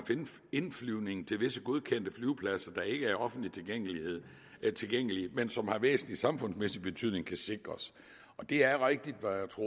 indflyvning til visse godkendte flyvepladser der ikke er offentligt tilgængelige men som har væsentlig samfundsmæssig betydning kan sikres og det er rigtigt